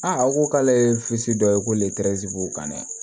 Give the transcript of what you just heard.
aw ko k'ale ye dɔ ye ko letɛrizi b'u kan dɛ